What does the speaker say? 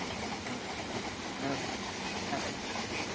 speaker 2